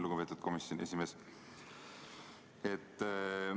Lugupeetud komisjoni esimees!